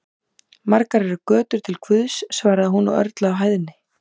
Margar eru götur til Guðs, svaraði hún og örlaði á hæðni.